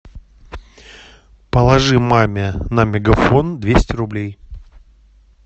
положи маме на мегафон двести рублей